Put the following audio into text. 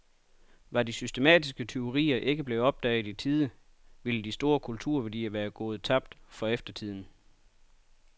Var de systematiske tyverier ikke blevet opdaget i tide ville store kulturværdier være gået tabt for eftertiden.